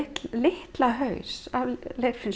litla